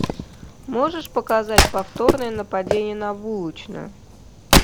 можешь показать повторное нападение на булочную